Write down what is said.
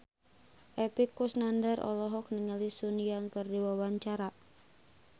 Epy Kusnandar olohok ningali Sun Yang keur diwawancara